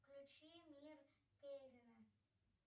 включи мир кевина